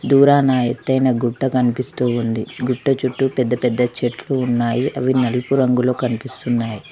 దూరన ఎతైనా గుట్ట కనిపిస్తూ ఉంది గుట్ట చుట్టూ పెద్ద పెద్ద చెట్లు ఉన్నాయి అవి నలుపు రంగులో కనిపిస్తున్నాయి.